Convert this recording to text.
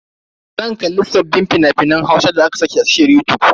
Zan kalli sabbin fina-finan Hausan da aka saki a tashar yutub.